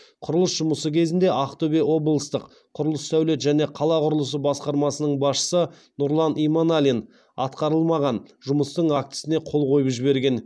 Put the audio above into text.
құрылыс жұмысы кезінде ақтөбе облыстық құрылыс сәулет және қала құрылысы басқармасының басшысы нұрлан иманалин атқарылмаған жұмыстың актісіне қол қойып жіберген